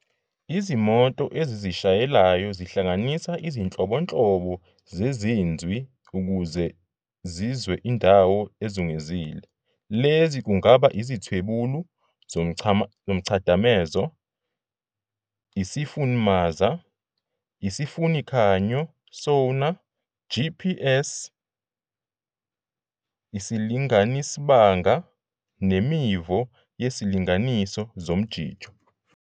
IziMoto ezizishayelayo zihlanganisa izinhlobonhlobo zeziNzwi ukuze zizwe indawo ezungezile, lezi kungaba izithwebuli zomchadamezo, isiFunimaza, isifunikhanyo, sonar, GPS, isilinganisibanga, nemivo yezilinganiso zomjijo.